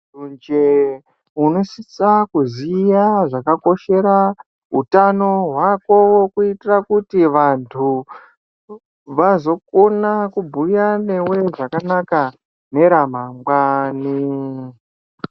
Weshe unosisa kuziya zvakakoshera utano hwako kuitira kuti vantu vazokona kubhuya newe zvakanaka neramangwani.